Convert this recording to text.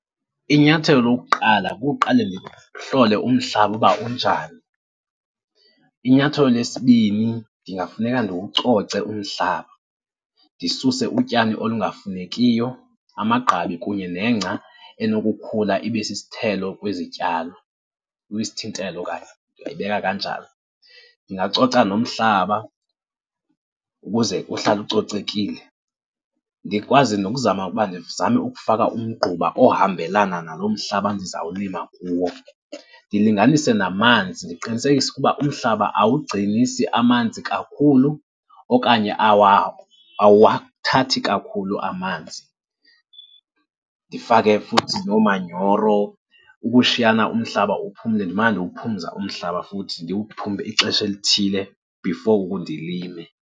Inyathelo lokuqala kukuqale ndihlole umhlaba uba unjani. Inyathelo lesibini, ndingafuneka ndiwucoce umhlaba, ndisuse utyani olungafunekiyo, amagqabi kunye nengca enokukhula ibe sisithelo kwizityalo, kwisithintelo okanye ndingayibeka kanjalo. Ndingacoca nomhlaba ukuze uhlale ucocekile, ndikwazi nokuzama ukuba ndizame ukufaka umgquba ohambelana nalo mhlaba ndizawulima kuwo. Ndilinganise namanzi, ndiqinisekise ukuba umhlaba awugcinisi amanzi kakhulu okanye awuwathathi kakhulu amanzi. Ndifake futhi noomanyoro ukushiyana umhlaba uphumle. Ndimane ndiwuphumza umhlaba futhi ndiwuphumze ixesha elithile before ndilime.